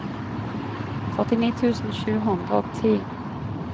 førtini tusen sju hundre og ti